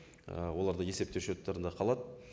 ііі олардың есемтеу счеттарында калады